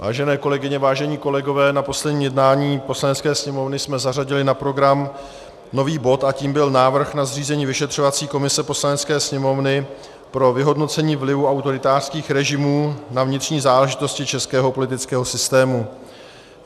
Vážené kolegyně, vážení kolegové, na posledním jednání Poslanecké sněmovny jsme zařadili na program nový bod a tím byl návrh na zřízení vyšetřovací komise Poslanecké sněmovny pro vyhodnocení vlivu autoritářských režimů na vnitřní záležitosti českého politického systému.